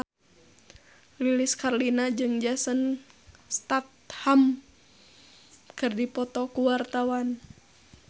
Lilis Karlina jeung Jason Statham keur dipoto ku wartawan